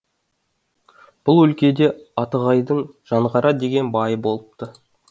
бұл өлкеде атығайдың жанғара деген байы болыпты